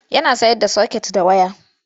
Yana sayar da soket da waya.